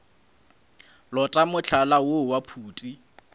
lota mohlala woo wa phuti